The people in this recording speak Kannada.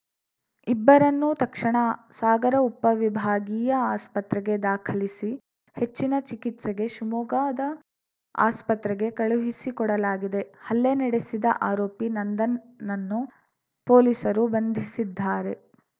ಇಬ್ಬರನ್ನೂ ತಕ್ಷಣ ಸಾಗರ ಉಪವಿಭಾಗೀಯ ಆಸ್ಪತ್ರೆಗೆ ದಾಖಲಿಸಿ ಹೆಚ್ಚಿನ ಚಿಕಿತ್ಸೆಗೆ ಶಿವಮೊಗ್ಗದ ಆಸ್ಪತ್ರೆಗೆ ಕಳುಹಿಸಿಕೊಡಲಾಗಿದೆ ಹಲ್ಲೆ ನಡೆಸಿದ ಆರೋಪಿ ನಂದನ್‌ನನ್ನು ಪೊಲೀಸರು ಬಂಧಿಸಿದ್ದಾರೆ